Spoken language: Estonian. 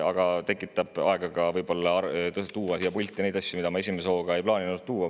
Aga see tekitas ka aega tuua siia pulti neid asju, mida ma esimese hooga ei plaaninud tuua.